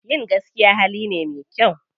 Yin gaskiya hali ne me kyau.